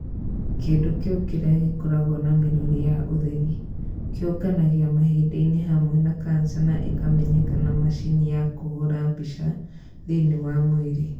Kĩndũ kĩu kĩrĩa gĩkoragwo na mĩrũri ya ũtheri kĩĩũnganagia mahĩndĩ-inĩ hamwe na kanca na ĩkamenyeka na macini ya kũhũra mbica thĩĩni wa mwĩrĩ.